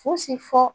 Fosi fɔ